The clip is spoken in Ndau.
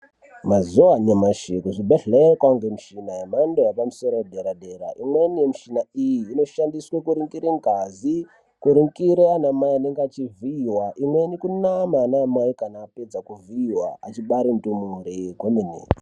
Mazuva anyamashi kuzvibhedhlera kwane mishini yemhando yepamusoro yedera dera imweni mishina iyi inoshandiswa kuningira ngazi kuningira ana mai anenge achivhiiwa imweni kunama ana mai anenge achivhiiwa achibare ndumure kwemene.